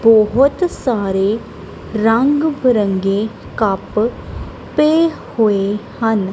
ਬਹੁਤ ਸਾਰੇ ਰੰਗ ਬਿਰੰਗੇ ਕੱਪ ਪਏ ਹੋਏ ਹਨ।